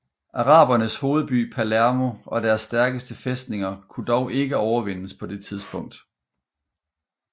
Arabernes hovedby Palermo og deres stærkeste fæstninger kunne dog ikke overvindes på det tidspunkt